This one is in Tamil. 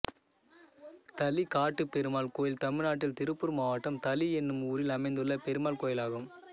தளி காட்டுப்பெருமாள் கோயில் தமிழ்நாட்டில் திருப்பூர் மாவட்டம் தளி என்னும் ஊரில் அமைந்துள்ள பெருமாள் கோயிலாகும்